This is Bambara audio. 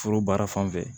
Foro baara fan fɛ